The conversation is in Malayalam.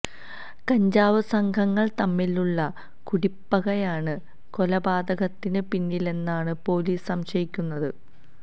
കഞ്ചാവ് സംഘങ്ങള് തമ്മിലുള്ള കുടിപ്പകയാണ് കൊലപാതകത്തിന് പിന്നിലെന്നാണ് പൊലീസ് സംശയിക്കുന്നത്